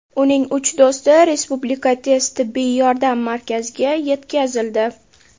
Uning uch do‘sti Respublika tez tibbiy yordam markaziga yetkazildi.